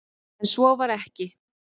En svo var ekki